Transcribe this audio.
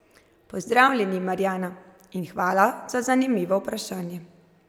Pozdravljeni, Marjana, in hvala za zanimivo vprašanje.